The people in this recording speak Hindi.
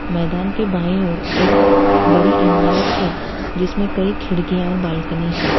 मैदान के बाई ओर एक बड़ी इमारत है जिसमें कई खिड़कियां और बालकनी हैं।